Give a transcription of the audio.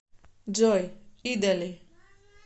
джой идали